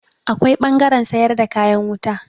Akwai ɓangaren sayar da kayan wuta.